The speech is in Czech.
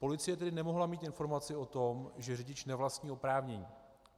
Policie tedy nemohla mít informaci o tom, že řidič nevlastní oprávnění.